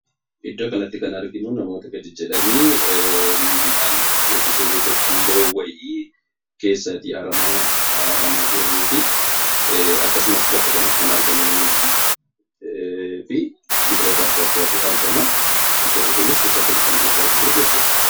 Suuraa kanaa gadii irratti kan argamu namoota gadi gugguufuun aramaa miidhaan keessaa aramaa jiran kan mul'isuu dha. Akkasumas biqilloonni akka Muuzii fa'aas kan argamanii dha.